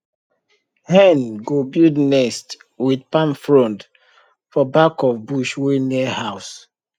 hen go build nest with palm frond for back of bush wey near house